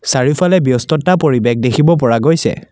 চাৰিওফালে ব্যস্ততা পৰিৱেশ দেখিব পৰা গৈছে।